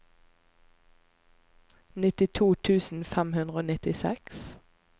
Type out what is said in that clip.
nittito tusen fem hundre og nittiseks